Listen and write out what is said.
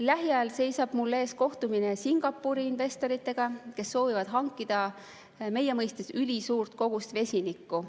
Lähiajal seisab mul ees kohtumine Singapuri investoritega, kes soovivad hankida meie mõistes ülisuurt kogust vesinikku.